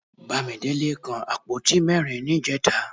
Bámidélé kan àpótí mẹ́rin níjẹta